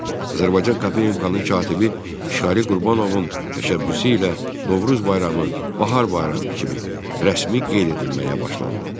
Azərbaycan KP-nin katibi Şirəli Qurbanovun təşəbbüsü ilə Novruz bayramı Bahar bayramı kimi rəsmi qeyd edilməyə başlandı.